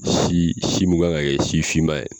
Si si mun kan ka kɛ si finma ye